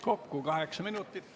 Kokku kaheksa minutit.